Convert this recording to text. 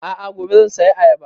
A'a gobe zan saya ayaba